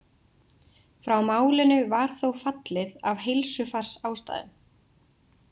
Frá málinu var þó fallið af heilsufarsástæðum.